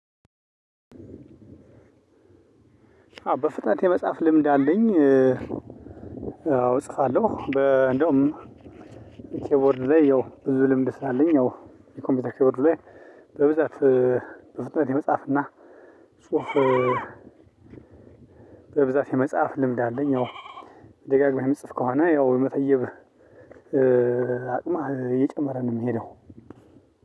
በፍጥነት የመጻፍ ልምድ አለኝ። አዎ እጽፋለሁ በ እንደውም ኪቦርድ ላይ ያው ብዙ ልምድ ስላለኝ ያው የኮምፒውተር ኪቦርድ ላይ በብዛት በፍጥነት የመጻፍ እና ጽሁፍ። በብዛት የመጻፍ ልምድ አለኝ። ያው ደጋግመህ የምጽፍ ከሆነ ያው የመተየብ አቅማህ እየጨመረ ነው የሚሄደው።